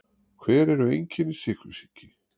Hver eru einkenni sykursýki?